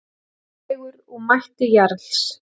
Dregur úr mætti Jarls